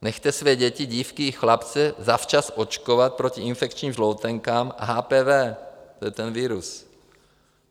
Nechte své děti, dívky i chlapce, zavčas očkovat proti infekčním žloutenkám a HPV - to je ten virus.